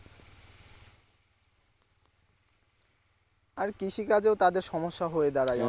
আর কৃষিকাজেও তাদের সমস্যা হয়ে দাঁড়ায়